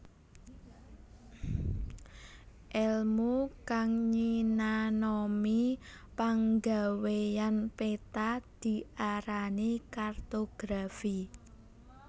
Èlmu kang nyinanoni panggawéyan peta diarani kartografi